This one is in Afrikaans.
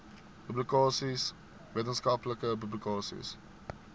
publikasies wetenskaplike publikasies